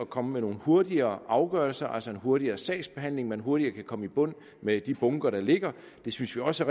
komme med nogle hurtigere afgørelser altså en hurtigere sagsbehandling så man hurtigere kan komme i bund med de bunker der ligger det synes vi også